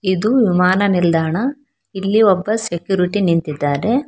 ಇದು ವಿಮಾನ ನಿಲ್ದಾಣ ಇಲ್ಲಿ ಒಬ್ಬ ಸೆಕ್ಯೂರಿಟಿ ನಿಂತಿದ್ದಾರೆ.